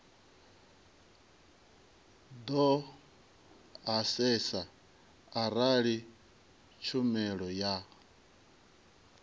do asesa arali tshumelo ya